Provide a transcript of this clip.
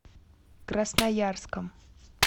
красноярском